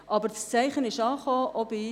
Aber das Zeichen ist angekommen.